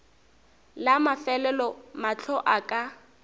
la mafelelo mahlo a ka